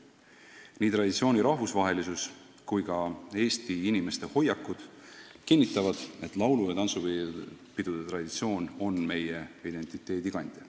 Nii traditsiooni rahvusvahelisus kui ka Eesti inimeste hoiakud kinnitavad, et laulu- ja tantsupidude traditsioon on meie identiteedi kandja.